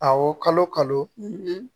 Awɔ kalo kalo